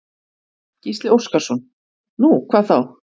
Gísli Óskarsson: Nú, hvað þá?